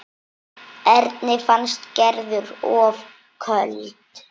Erni fannst Gerður of köld.